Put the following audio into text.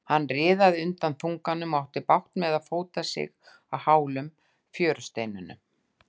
Hann riðaði undan þunganum og átti bágt með að fóta sig á hálum fjörusteinunum.